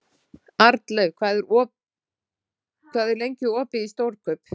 Arnleif, hvað er lengi opið í Stórkaup?